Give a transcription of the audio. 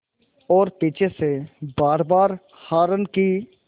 और पीछे से बारबार हार्न की